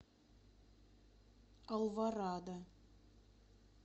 алворада